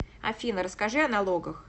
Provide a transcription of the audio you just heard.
афина расскажи о налогах